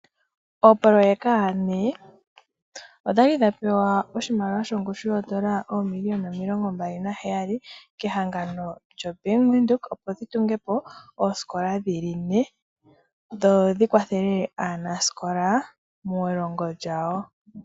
Oopoloyeka ne odhali dhapewa oshimaliwa shongushou shoondola oomiliona omilongo mbali naheyali kehangano lyo bank windhoek opo dhi tungepo oositola dhili ne dhodhi kwathele aanasikola muulongo lyawo.